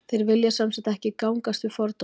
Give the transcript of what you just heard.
þeir vilja sem sagt ekki gangast við fordómum